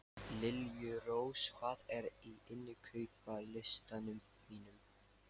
Liljurós, hvað er á innkaupalistanum mínum?